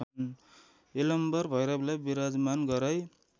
यलम्बर भैरवलाई विराजमान गराई